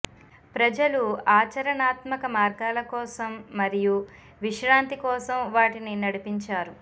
ప్రజలు ఆచరణాత్మక మార్గాల కోసం మరియు విశ్రాంతి కోసం వాటిని నడిపించారు